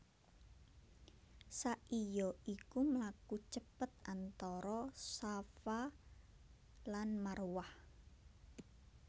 Sa i ya iku mlaku cepet antara Shafa lan Marwah